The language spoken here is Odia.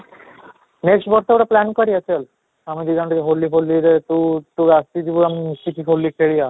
next ବର୍ଷ ଗୋଟେ plan କରିବା ଚାଲ ଆମେ ଦି ଜଣ ହୋଲି ରେ ତୁ ତୁ ଆସିଯିବୁ ଆମେ ମିଶିକି ହୋଲି ଖେଳିବା